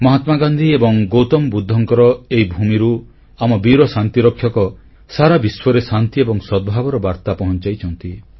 ମହାତ୍ମାଗାନ୍ଧୀ ଓ ଗୌତମ ବୁଦ୍ଧଙ୍କର ଏହି ଭୂମିରୁ ଆମ ବୀର ଶାନ୍ତିରକ୍ଷକPeacekeepers ସାରା ବିଶ୍ୱରେ ଶାନ୍ତି ଏବଂ ସଦ୍ଭାବର ବାର୍ତ୍ତା ପହଂଚାଇଛନ୍ତି